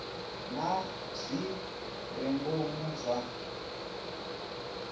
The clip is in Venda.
na zwi re ngomu zwa